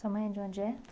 Sua mãe é de onde é?